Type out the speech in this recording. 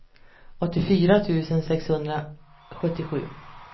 åttiofyra tusen sexhundrasjuttiosju